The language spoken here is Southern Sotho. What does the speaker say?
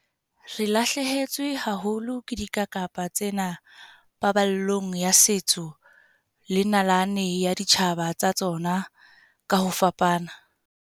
Re lahlehetswe haholo ke dikakapa tsena paballong ya setso le nalane ya ditjhaba tsa tsona ka ho fapana.